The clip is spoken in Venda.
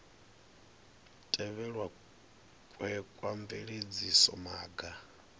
tevhelwa kwe kwa bveledzisa maga